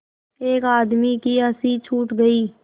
एक आदमी की हँसी छूट गई